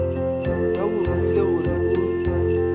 ba go romile gore o